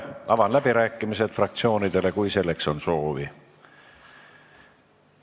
Avan läbirääkimised fraktsioonidele, kui selleks on soovi.